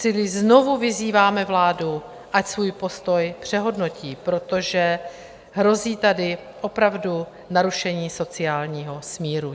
Čili znovu vyzýváme vládu, ať svůj postoj přehodnotí, protože hrozí tady opravdu narušení sociálního smíru.